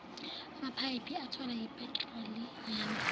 amaphayiphi athwala iphethroliyamu